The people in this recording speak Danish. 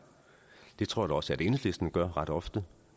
det tror jeg da også at enhedslisten gør ret ofte